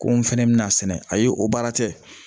Ko n fɛnɛ bɛna sɛnɛ ayi o baara tɛ